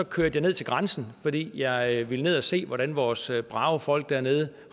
kørte ned til grænsen fordi jeg ville ned og se hvordan vores brave folk dernede